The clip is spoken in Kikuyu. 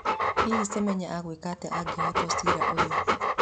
Hihi Semenya agwĩka atĩa angĩhotwo cira ũyũ?